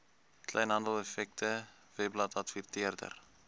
kleinhandel effekte webbladadverteer